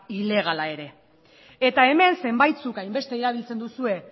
ilegala ere eta hemen zenbait zuk hainbeste erabiltzen duzue